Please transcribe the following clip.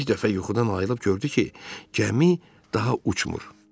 Bir dəfə yuxudan ayılıb gördü ki, gəmi daha uçmur.